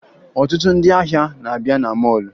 Ọtụtụ ndị ahịa na-abịa na mọọlụ